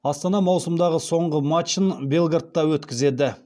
астана маусымдағы соңғы матчын белградта өткізеді